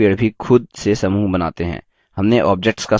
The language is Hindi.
प्रत्येक पेड़ भी खुद से समूह बनाते हैं